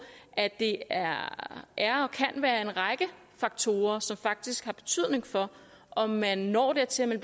at det er er og kan være en række faktorer som faktisk har betydning for om man når dertil at